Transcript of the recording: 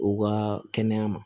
U ka kɛnɛya ma